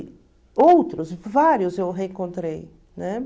outros, vários eu reencontrei. Né?